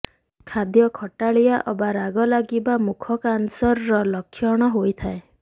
ଖାଦ୍ୟ ଖଟାଳିଆ ଅବା ରାଗ ଲାଗିବା ମୁଖ କ୍ୟାନସରର ଲକ୍ଷଣ ହୋଇଥାଏ